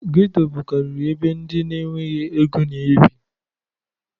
Geto bukariri ebe ndị na enweghị ego n'ebi